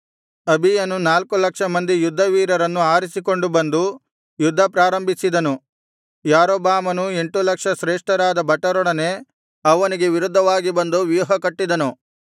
ಅಬೀಯನು ನಾಲ್ಕು ಲಕ್ಷ ಮಂದಿ ಯುದ್ಧವೀರರನ್ನು ಆರಿಸಿಕೊಂಡು ಬಂದು ಯುದ್ಧ ಪ್ರಾರಂಭಿಸಿದನು ಯಾರೊಬ್ಬಾಮನೂ ಎಂಟು ಲಕ್ಷ ಶ್ರೇಷ್ಠರಾದ ಭಟರೊಡನೆ ಅವನಿಗೆ ವಿರುದ್ಧವಾಗಿ ಬಂದು ವ್ಯೂಹಕಟ್ಟಿದನು